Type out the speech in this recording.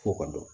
F'o ka dɔn